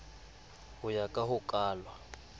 ho ya ka ho kalwa